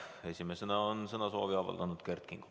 Esimesena on sõnavõtusoovi avaldanud Kert Kingo.